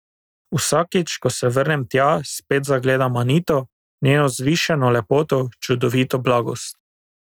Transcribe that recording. Vsakič, ko se vrnem tja, spet zagledam Anito, njeno vzvišeno lepoto, čudovito blagost.